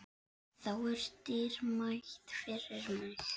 Það er dýrmætt fyrir mig.